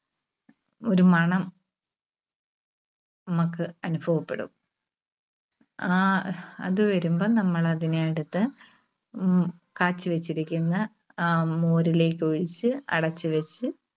ഒരു മണം നമുക്ക് അനുഭവപ്പെടും. ആ അത് വരുമ്പം നമ്മള് അതിനെ എടുത്ത് ഉം കാച്ചിവെച്ചിരിക്കുന്ന ആ മോരിലേക്കൊഴിച്ച് അടച്ച് വെച്ച്